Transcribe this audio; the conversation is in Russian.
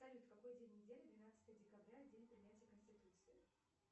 салют какой день недели двенадцатое декабря день принятия конституции